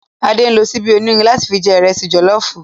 Ade nló ṣìbi ónírìn látì fi jè ìrẹsì jòlòfú